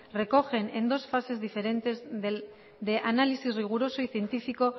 recogen en dos fases diferentes de análisis riguroso y científico